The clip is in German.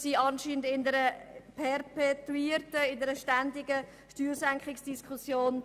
Wir führen eine ständige Steuersenkungsdiskussion.